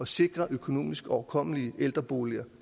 sikre økonomisk overkommelige ældreboliger